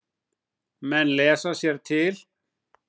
Menn lesa sér til.